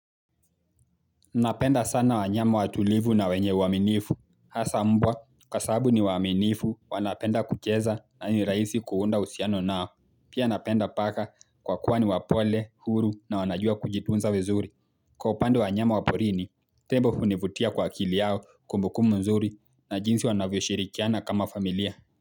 Napenda sana wanyama watulivu na wenye uaminifu Hasa mbwa kwa sababu ni waaminifu wanapenda kucheza na ni rahisi kuunda uhusiano nao Pia napenda paka kwa kuwa ni wapole huru na wanajua kujitunza vizuri Kwa upande wa wanyama wa porini Tembo hunivutia kwa akili yao kumbukumbu mzuri na jinsi wanavyo shirikiana kama familia.